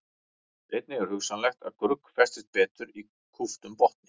Einnig er hugsanlegt að grugg festist betur í kúptum botni.